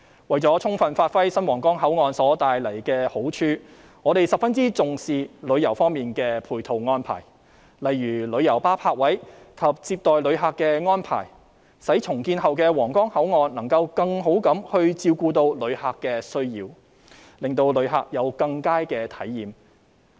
為了充分發揮新皇崗口岸帶來的好處，我們十分重視旅遊方面的配套安排，例如旅遊巴泊位及接待旅客的安排，使重建後的皇崗口岸能夠更好照顧旅客的需要，令旅客有更佳的體驗。